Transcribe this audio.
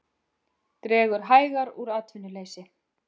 Dregur hægar úr atvinnuleysi